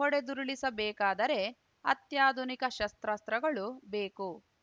ಹೊಡೆದುರುಳಿಸಬೇಕಾದರೆ ಅತ್ಯಾಧುನಿಕ ಶಸ್ತ್ರಾಸ್ತ್ರಗಳು ಬೇಕು